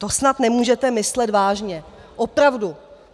To snad nemůžete myslet vážně, opravdu.